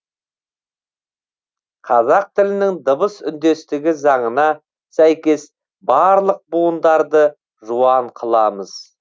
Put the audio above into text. қазақ тілінің дыбыс үндестігі заңына сәйкес барлық буындарды жуан қыламыз